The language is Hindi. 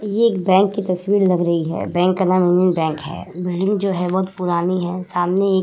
ये एक बैंक की तस्वीर लग रही है। बैंक का नाम यूनियन बैंक है बैंक जो है बहुत पुरानी है सामने एक --